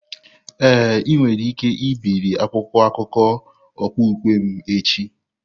Ee, ị nwere ike ibiri akwụkwọ akụkọ okpukpe m echi.